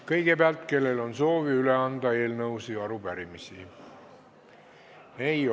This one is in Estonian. Kõigepealt, kellel on soovi üle anda eelnõusid ja arupärimisi?